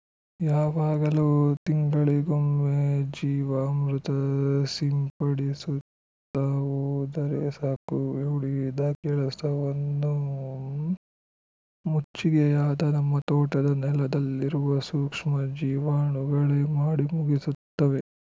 ಯಾವಾಗಲೋ ತಿಂಗಳಿಗೊಮ್ಮೆ ಜೀವಾಮೃತ ಸಿಂಪಡಿಸುತ್ತಾ ಹೋದರೆ ಸಾಕು ಉಳಿದ ಕೆಲಸವನ್ನು ಮುಚ್ಚಿಗೆಯಾದ ನಮ್ಮ ತೋಟದ ನೆಲ್ಲದಲ್ಲಿರುವ ಸೂಕ್ಷ್ಮ ಜೀವಾಣುಗಳೇ ಮಾಡಿ ಮುಗಿಸುತ್ತವೆ